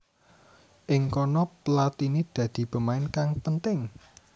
Ing kono Platini dadi pemain kang penting